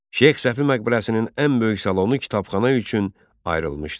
Şeyx Səfi məqbərəsinin ən böyük salonu kitabxana üçün ayrılmışdı.